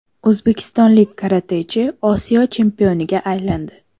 O‘zbekistonlik karatechi Osiyo chempioniga aylandi.